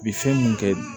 U bi fɛn mun kɛ